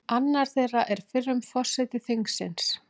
Annar þeirra er fyrrum forseti þingsins